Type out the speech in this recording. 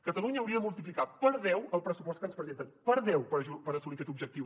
catalunya hauria de multiplicar per deu el pressupost que ens presenten per deu per assolir aquest objectiu